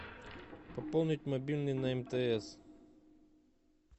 пополнить мобильный на мтс